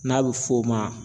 N'a bɛ f'o ma